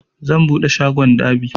Zan buɗe shagon dab'i